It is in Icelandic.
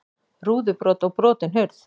Rúðubrot og brotin hurð